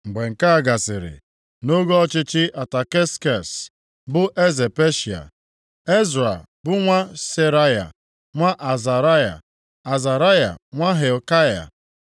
Mgbe nke a gasịrị, nʼoge ọchịchị Ataksekses bụ eze Peshịa. Ezra bụ nwa Seraya nwa Azaraya, Azaraya nwa Hilkaya,